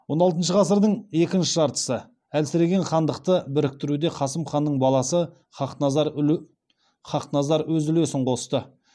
он алтыншы ғасырдың екінші жартысы әлсіреген хандықты біріктіруде қасым ханның баласы хақназар өз үлесін қосты